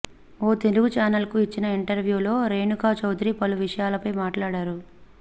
ఓ తెలుగు ఛానెల్కు ఇచ్చిన ఇంటర్వ్యూలో రేణుకా చౌదరి పలు విషయాలపై మాట్లాడారు